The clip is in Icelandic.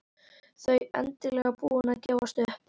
Þau endanlega búin að gefast upp.